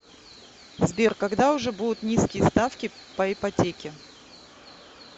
сбер когда уже будут низкие ставки по ипотеке